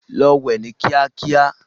Lọ wẹ ni kíákíá.